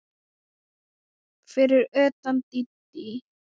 Fyrir utan Dídí.